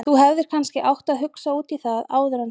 Þú hefðir kannski átt að hugsa út í það áður en þú.